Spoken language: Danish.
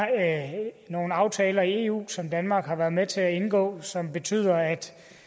nogle aftaler i eu som danmark har været med til at indgå og som betyder at